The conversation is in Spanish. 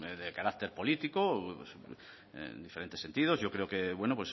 de carácter político en diferentes sentidos yo creo que bueno